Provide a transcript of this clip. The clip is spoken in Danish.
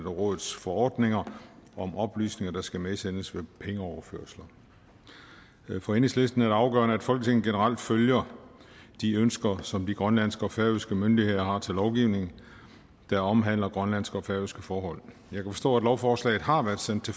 og rådets forordninger om oplysninger der skal medsendes ved pengeoverførsler for enhedslisten er det afgørende at folketinget generelt følger de ønsker som de grønlandske og færøske myndigheder har til lovgivning der omhandler grønlandske og færøske forhold jeg kan forstå at lovforslaget har været sendt